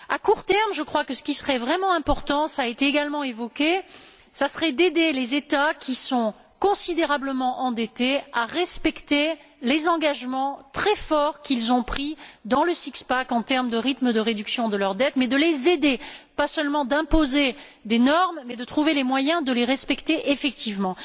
À court terme, je crois que ce qui serait vraiment important cela a été également évoqué ce serait d'aider les États qui sont considérablement endettés à respecter les engagements très forts qu'ils ont pris dans le six pack en termes de rythme de réduction de leur dette mais de les aider et non pas seulement d'imposer des normes mais de trouver les moyens de les respecter effectivement.